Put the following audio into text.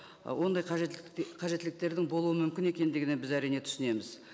ы ондай қажеттіліктердің болуы мүмкін екендігіне біз әрине түсінеміз